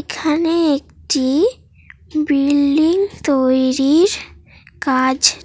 এখানে একটিবিল্ডিং তৈরির কাজ--